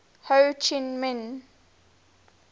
ho chi minh